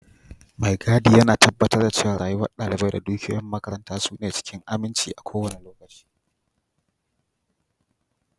Mai gadi yana tabbatar da cewa rayuwar dalibai da dukiyoyin makaranta suna cikin aminci a kowane lokaci.